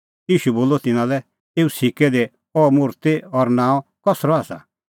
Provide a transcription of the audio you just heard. ईशू बोलअ तिन्नां लै एऊ सिक्कै दी अह मुर्ति और नांअ कसरअ आसा